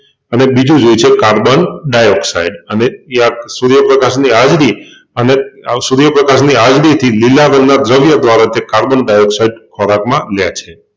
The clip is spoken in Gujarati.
અને બીજું જોઈએ છે કાર્બન ડાયોક્સાઈડઅને એ આ સુર્યપ્રકાશની હાજરી અને આ સુર્યપ્રકાશની હાજરીથી લીલા રંગના દ્રવ્ય દ્વારા તે કાર્બન ડાયોક્સાઈડ ખોરાકમાં લે છે.